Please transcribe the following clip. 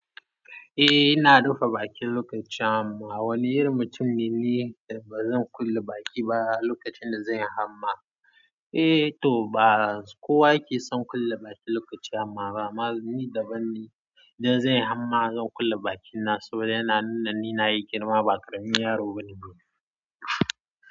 Eh ina rufe baki lokacin hannma. Wani irin mutum ne ni da bazan kulle baki ba lokacin da zanyi hannma. Eh to ba kowa yake son kulle baki lokacin hannma amma ni daban ne, idan zanyi hannma zan kulle bakina saboda yana nuna ni nayi girma ba karamin yaro bane.